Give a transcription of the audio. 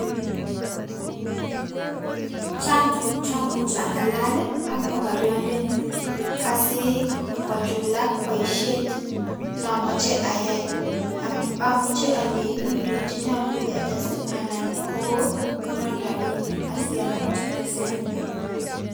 Chang tukuk chamuch ang'alal am mokoriondenyun asii kochulak boishet nomoche ayaai, amuche oleii Mii tukuk chenyolu ketes anan kokonon rabinik asiamuch atesen.